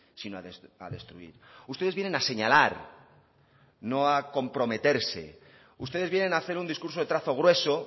sino a destruir ustedes vienen a señalar no a comprometerse ustedes vienen a hacer un discurso de trazo grueso